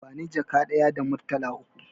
Bani jaka ɗaya da murtala uku